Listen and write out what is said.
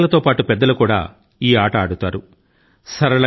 ఇది చిన్నాపెద్దా అందరి లో సమానం గా ఆదరణ ను పొందింది